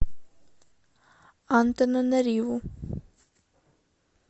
антананариву